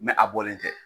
a bɔlen tɛ